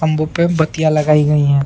खंबो पे बत्तियाँ लगायी गयीं हैं।